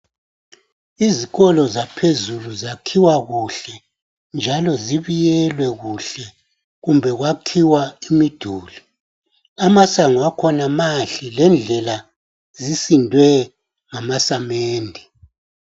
Izikolo zaphezulu zakhiwa kuhle njalo zibiyelwe kuhle kumbe kwakhiwa imiduli. Amasango akhona mahle lendlela zakhona zisindwe ngamasamende.